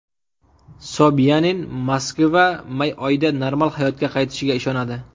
Sobyanin Moskva may oyida normal hayotga qaytishiga ishonadi.